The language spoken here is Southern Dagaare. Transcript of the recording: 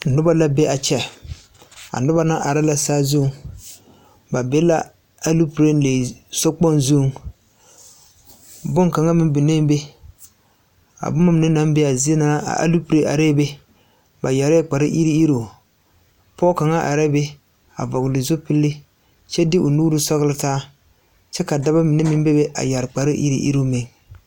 Noba la be a kyɛ a noba na are la saazuŋ ba be la aloopelee sokpoŋ zuŋ boŋkaŋa meŋ bee be a boma mine naŋ be a zie na aloopelee be ba yɛre la kpare iri iruŋ pɔge kaŋa arɛɛ be a vɔgle zupili kyɛ de o nuuri sɔgle taa kyɛ ka daba mine meŋ bebe yɛre kparre iri iri meŋ.